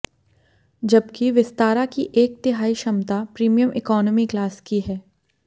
जबकि विस्तारा की एक तिहाई क्षमता प्रीमियम इकोनॉमी क्लास की है